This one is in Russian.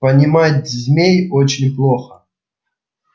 понимать змей очень плохо